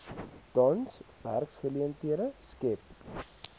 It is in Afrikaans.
tans werksgeleenthede skep